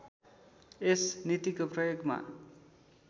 यस नीतिको प्रयोगमा